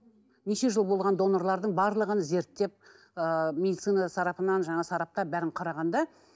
неше жыл болған донорлардың барлығын зерттеп ыыы медицина сарапынан жаңа сарапта бәрін қарағанда